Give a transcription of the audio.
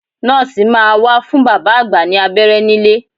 Nọ́ọ̀sì máa wá fún bàbá àgbà ní abẹ́rẹ́ nílé